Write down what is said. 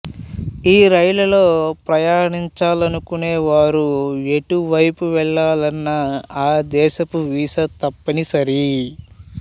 ఈ రైళ్లలో ప్రయాణించాలనుకునే వారు ఎటువైపు వెళ్లాలనా ఆ దేశపు వీసా తప్పని సరి